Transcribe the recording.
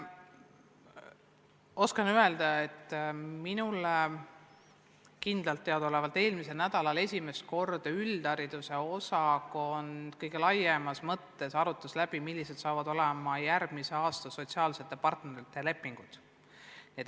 Oskan öelda, et kindlalt tean ma seda, et eelmisel nädalal esimest korda üldhariduse osakond kõige laiemas mõttes arutas läbi, millised saavad olema järgmise aasta sotsiaalsete partnerite lepingud.